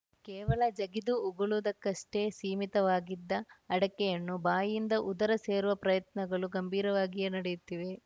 ಕೇವಲ ಜಗಿದು ಉಗುಳುವುದಕ್ಕಷ್ಟೇ ಸೀಮಿತವಾಗಿದ್ದ ಅಡಕೆಯನ್ನು ಬಾಯಿಯಿಂದ ಉದರ ಸೇರುವ ಪ್ರಯತ್ನಗಳು ಗಂಭೀರವಾಗಿಯೇ ನಡೆಯುತ್ತಿವೆ